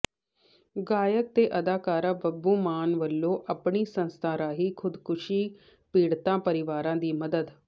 ਗਾਇਕ ਤੇ ਅਦਾਕਾਰ ਬੱਬੂ ਮਾਨ ਵੱਲੋਂ ਆਪਣੀ ਸੰਸਥਾ ਰਾਹੀਂ ਖੁਦਕਸ਼ੀ ਪੀੜਤ ਪਰਿਵਾਰਾਂ ਦੀ ਮਦਦ